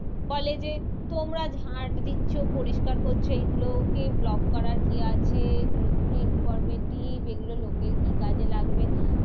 বলে যে তোমরা ঝাঁট দিচ্ছো, পরিষ্কার করছো, সেইগুলোকে vlog করার কি আছে? এগুলো কোনো informative এগুলো লোকের কি কাজে লাগবে?